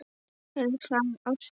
Er það ástin?